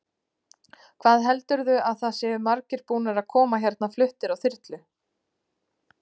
Hvað heldurðu að það séu margir búnir að koma hérna fluttir á þyrlu?